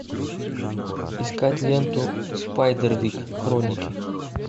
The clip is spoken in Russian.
искать ленту спайдервик хроники